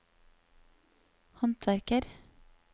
håndverker